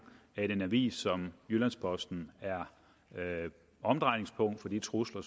at en avis som jyllands posten er omdrejningspunkt for de trusler